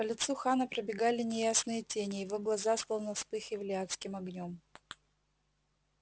по лицу хана пробегали неясные тени его глаза словно вспыхивали адским огнём